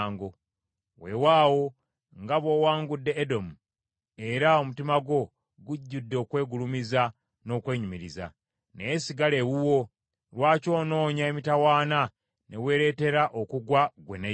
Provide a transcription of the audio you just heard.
Weewaana nga bw’owangudde Edomu, era omutima gwo gujjudde okwegulumiza n’okwenyumiriza. Naye sigala ewuwo. Lwaki onoonya emitawaana, ne weeretera okugwa, ggwe ne Yuda?”